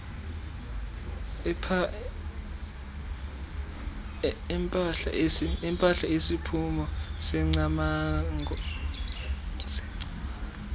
empahla esisiphumo sengcamango